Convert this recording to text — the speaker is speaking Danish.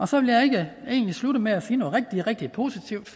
så vil jeg egentlig slutte med at sige noget rigtig rigtig positivt